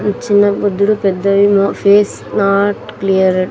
చిన్న బుద్ధుడు పెద్దవేమో ఫేస్ నాట్ క్లియర్ .